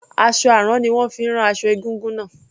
Aṣọ àrán ni wón fi rán aṣọ egúngún náà.